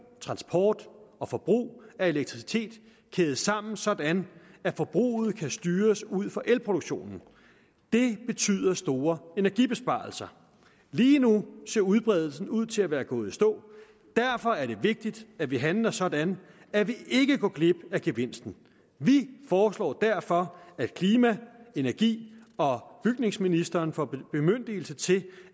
transport og forbrug af elektricitet kædes sammen sådan at forbruget kan styres ud fra elproduktionen det betyder store energibesparelser lige nu ser udbredelsen ud til at være gået i stå og derfor er det vigtigt at vi handler sådan at vi ikke går glip af gevinsten vi foreslår derfor at klima energi og bygningsministeren får en bemyndigelse til